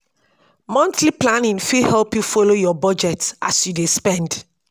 monthly planning fit help yu folo yur bujet as yu dey spend